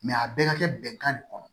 a bɛɛ ka kɛ bɛnkan de kɔnɔ